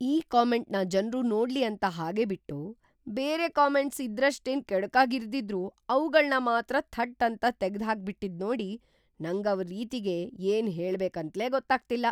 ಈ ಕಾಮೆಂಟ್‌ನ ಜನ್ರು ನೋಡ್ಲಿ ಅಂತ ಹಾಗೆ ಬಿಟ್ಟು, ಬೇರೆ ಕಾಮೆಂಟ್ಸ್ ಇದ್ರಷ್ಟೇನ್‌ ಕೆಡುಕಾಗ್ ಇರ್ದಿದ್ರೂ ಅವ್ಗಳ್ನ ಮಾತ್ರ ಥಟ್‌ ಅಂತ ತೆಗ್ದ್‌ಹಾಕ್ಬಿಟಿದ್ನೋಡಿ ನಂಗ್ ಇವ್ರ್‌ ರೀತಿಗೆ ಏನ್‌ ಹೇಳ್ಬೇಕಂತ್ಲೇ ಗೊತ್ತಾಗ್ತಿಲ್ಲ.